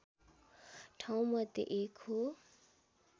ठाउँमध्ये एक हो